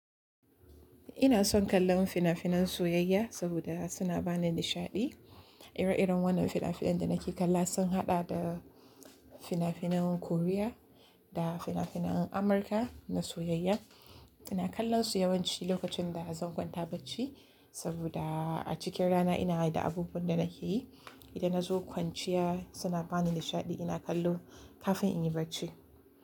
Ina son kallon fina-finan soyayya saboda suna bani nishaɗi. Ire-iren wannan fina-finan da nake kalla sun haɗa da fina-finayen Korea da fina-finayen Amurka na soyayya. Ina kallonsu yawanci lokacin da zan kwanta bacci saboda a cikin rana ina da abubuwan da nake yi. Ida na zo kwanciya suna bani nishaɗi ina kallo kafin in yi bacci.